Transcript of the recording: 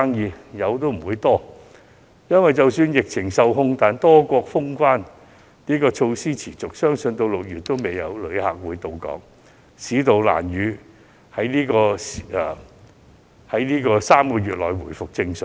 即使是有，生意也不多，因為即使疫情受控，多國封關措施持續，相信直至6月也沒有旅客到港，市道難以在3個月內回復正常。